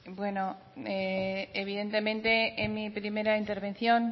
bueno evidentemente en mi primera intervención